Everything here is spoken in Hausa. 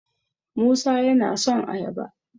musa yana son ayaba